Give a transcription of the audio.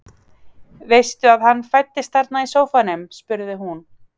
Veistu að hann fæddist þarna í sófanum? spurði hún.